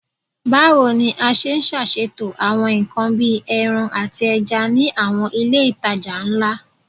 Bawo ni a ṣe ṣaṣeto awọn nkan bii ẹran ati ẹja ni awọn ile itaja nla?